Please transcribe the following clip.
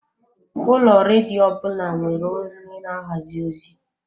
Ụlọ redio ọbụna nwere onye na-ahazi ozi.